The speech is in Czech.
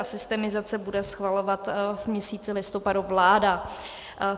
A systemizaci bude schvalovat v měsíci listopadu vláda.